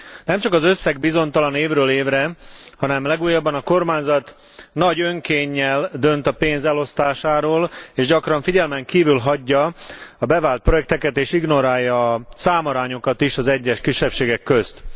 Nemcsak az összeg bizonytalan évről évre, hanem legújabban a kormányzat nagy önkénnyel dönt a pénz elosztásáról, és gyakran figyelmen kívül hagyja a bevált projekteket, és ignorálja a számarányokat is az egyes kisebbségek közt.